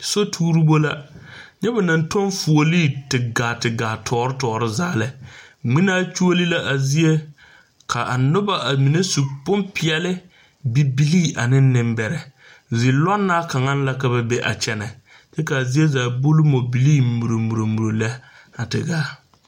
Soturibo la nyɛ ba naŋ tɔŋ fuolii te gaa te gaa tɔɔre tɔɔre zaa lɛ ŋmenaa kyuoli la a zie ka a noba a mine su bompeɛle bibilii ane nembɛrɛ zilɔŋnaa kaŋaŋ la ka ba be a kyɛnɛ k,a zie zaa a buli mɔbilii muro muro muro lɛ a te gaa.